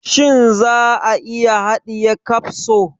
Shin za a iya haɗiye kapso?